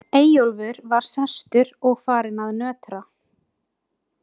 Eyjólfur var sestur og farinn að nötra.